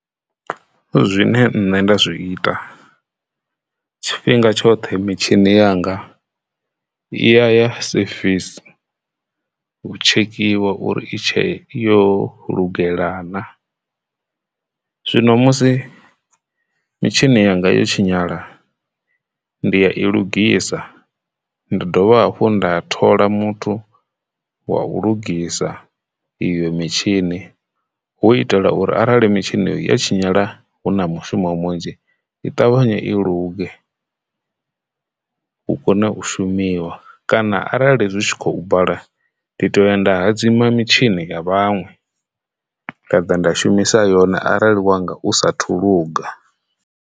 Zwine nṋe nda zwi ita tshifhinga tshoṱhe mitshini yanga iya ya service u tshekhiwa uri i tshe yo lugela na zwino musi mitshini yanga yo tshinyala ndi ya i lugisa ndi dovha hafhu nda thola muthu wa u lugisa iyo mitshini hu itela uri arali mitshini ya tshinyala hu na mishumo munzhi i ṱavhanye i luge hu kone u shumisa kana arali zwi tshi khou bala ndi to ya nda hadzima mitshini ya vhaṅwe khaḓa nda shumisa yone arali wanga u sa thu luga.